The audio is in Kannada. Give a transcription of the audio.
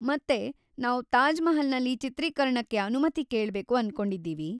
ಮತ್ತೆ ನಾವು ತಾಜ್ ಮಹಲ್‌ನಲ್ಲಿ ಚಿತ್ರೀಕರಣಕ್ಕೆ ಅನುಮತಿ ಕೇಳ್ಬೇಕು ಅಂದ್ಕೊಂಡಿದೀವಿ.